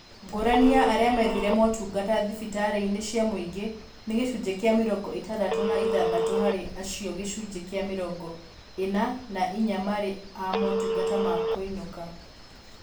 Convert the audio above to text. Ngũrani ya arĩa methire motungata thibitarĩ inĩ cia mũingĩ nĩ gĩcunjĩ kĩa mĩrongo ĩtandatũ na ithathatũ harĩ acio gĩcunjĩ kĩa mĩrongo ĩna na inya marĩ a motungata ma kũinũka